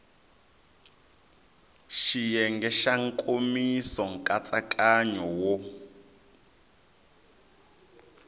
xiyenge xa nkomiso nkatsakanyo wo